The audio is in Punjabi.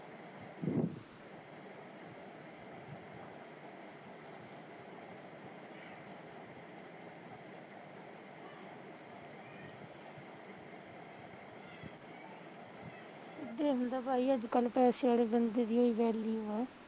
ਇਦੇ ਹੁੰਦਾ ਭਾਈ ਅੱਜ ਕੱਲ ਪੈਸੇ ਆਲੇ ਬੰਦੇ ਦੀ ਹੋਈ value ਆ